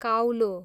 काउलो